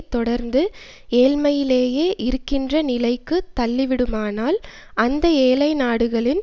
தொடர்ந்து ஏழ்மையிலேயே இருக்கின்ற நிலைக்கு தள்ளிவிடுமானால் அந்த ஏழை நாடுகளின்